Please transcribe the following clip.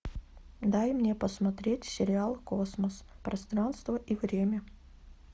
дай мне посмотреть сериал космос пространство и время